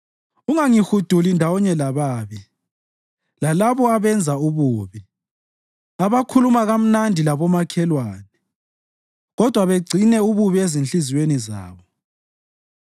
Ungangihuduli ndawonye lababi, lalabo abenza ububi, abakhuluma kamnandi labomakhelwane kodwa begcine ububi ezinhliziyweni zabo.